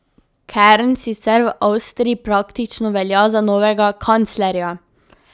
Kern sicer v Avstriji praktično velja za novega kanclerja.